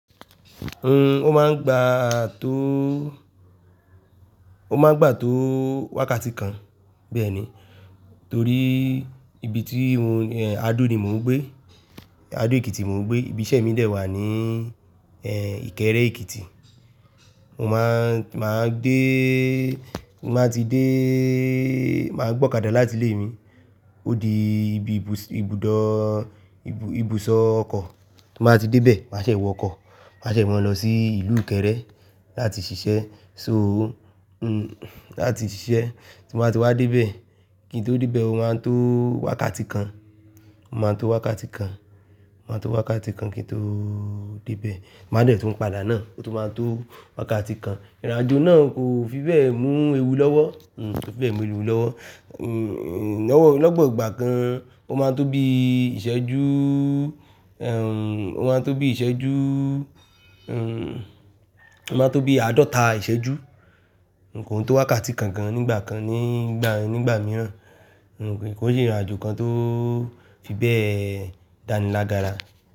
Ó máa ń gbà tó, ó máa ń gbà tó wákàtí kan. Bẹ́ẹ̀ni. Torí ibi tí mo Ehn, Adó ni mò ń gbé. Adó Èkìtì mò ń gbé. Ibi iṣẹ́ mi dẹ wà ní Ìkẹ́rẹ́ Èkìtì. Mo máa ń, máa ń déé, má tí déé, màá gbọ́kàdà láti ilé mi. Ó di ibi ibùsọ- ibùdó, ibu- ibùsọ̀ ọkọ̀. Mo máa tí dé ibẹ̀, màá ṣe wọ ọkọ̀. Màá ṣe mọ̀n lọ sí ìlú Ìkẹ́rẹ́ láti ṣiṣẹ́. So, uhm, láti ṣiṣẹ́. Tí mo bá ti wá dé ibẹ̀, kí n tó dé ibẹ̀, ó máa ń tó wákàtí kan. Ó máa ń tó wákàtí kan. Ó máa ń tó wákàtí kan kí n tóóó dé ibẹ̀. Mo máa dẹ̀ tún padà náà. Ó tún máa ń tó wákàtí kan. Ìrìnàjò náà kò fi bẹ́ẹ̀ mú ewu lọ́wọ́. Uhm, kò fi bẹ́ẹ̀ mú ewu lọ́wọ́. Uhm, lọ́wọ́, lópò lọ́gbà kan ó máa ń tó bí ìṣẹ́jú, ehn, ó máa ń tó bí ìṣẹ́jú, uhm, ó máa ń tó bí àádọ́ta ìṣẹ́jú. Kòn tó wákàtí kan gan nígbà kan, nígbà, nígbà mìíràn. Kòn se Ìrìnàjò kan tó fi bẹ́ẹ̀ dánilágbára.